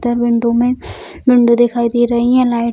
बिंदु में विंडो दिखाई दे रही है लाइट --